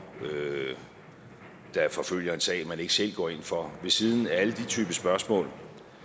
der forfølger en sag man ikke selv går ind for ved siden af alle de typer spørgsmål